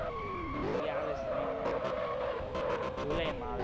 ઈ આવે તો july માં આવે.